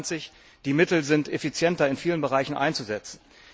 2020. Die Mittel sind effizienter in vielen Bereichen einzusetzen.